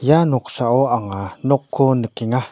ia noksao anga nokko nikenga.